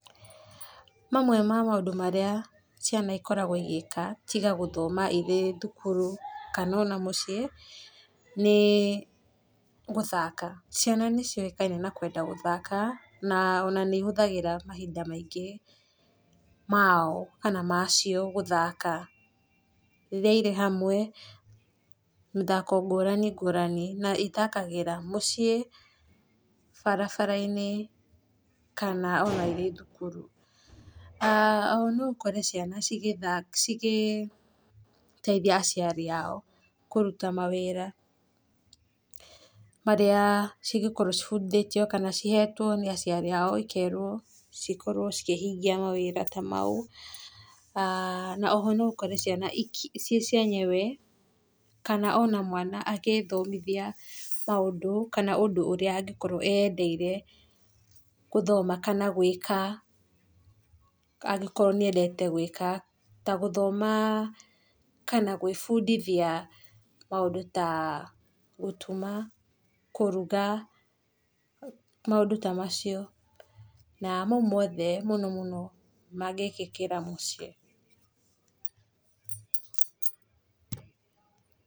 Mamwe ma maũndũ marĩa ciana ikoragwo igĩka tiga gũthoma kuma irĩ thukuru kana ona mũciĩ nĩ, gũthaka, ciana nĩ ciũĩkaina na kwenda gũthaka na ona nĩ ihũthagĩra mahinda maingĩ kana macio gũthaka, rĩrĩa irĩ hamwe mĩthako ngũrani ngũrani, na ithakagĩra mũciĩ barabara-inĩ kana ona irĩ thukuru. Aah ona noũkore ciana igĩteithia aciari ao, kũruta mawĩra marĩa cingĩkorwo cibundithĩtio kana cihetwo nĩ aciari ao cikerwo cikorwo cikĩhingia mawĩra ta mau, na oho no ũkore ciana ciĩ cienyewe kana no ũkore mwana agĩthomithia maũndũ kana ũndũ ũrĩa angĩkorwo eyendeire gũthoma kana gwĩka angĩkorwo nĩ endete gwĩka. Ta gũthoma kana gwĩbundithia maũndũ ta gũtuma, kũruga maũndũ ta macio, na mau mothe mũno mũno mangĩkĩkĩra mũciĩ.